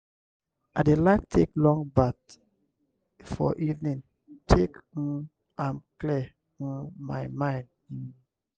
i dey like take long baff for evening take um am clear um my mind. um